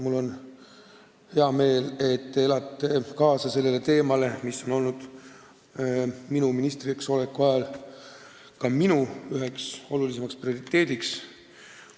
Mul on hea meel, et te elate kaasa teemale, mis on ka mulle minu ministriks oleku ajal üks olulisimaid prioriteete olnud.